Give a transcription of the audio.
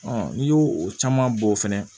n'i y'o o caman bɔ fɛnɛ